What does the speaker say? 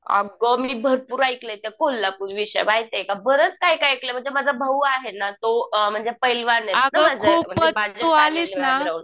अगं मी भरपूर ऐकलंय त्या कोल्हापूरविषयी माहितीये का? बरंच काही काही ऐकलंय, म्हणजे माझा भाऊ आहे ना तो पैलवान आहे